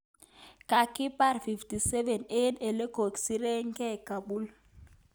Kakipar 57 eng olekisiregei ,Kabul